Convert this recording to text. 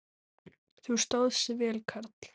Þú stóðst þig vel, karl.